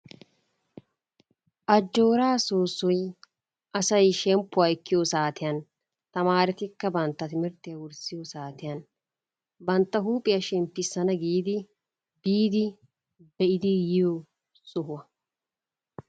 Ajjooraa soossoy asay shemppuwa ekkiyo saatiyan, tamaaretikka bantta timirttiya wurssiyo saatiyan bantta huuphiya smemppissana giidi biidi be'idi yiyo sohuwa.